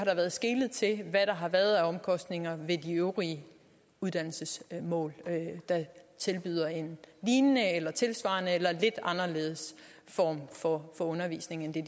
været skelet til hvad der har været af omkostninger ved de øvrige uddannelsesmål der tilbyder en lignende eller tilsvarende eller lidt anderledes form for undervisning end